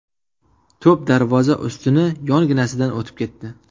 To‘p darvoza ustuni yonginasidan o‘tib ketdi.